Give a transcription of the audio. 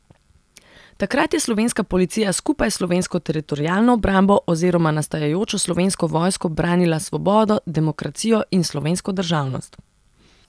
Takrat je slovenska policija skupaj s slovensko teritorialno obrambo oziroma nastajajočo slovensko vojsko branila svobodo, demokracijo in slovensko državnost.